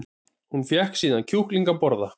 Hún fékk síðan kjúkling að borða